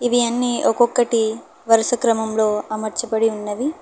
ఇవి అన్ని ఒక్కొక్కటి వరుస క్రమంలో అమర్చబడి ఉన్నవి.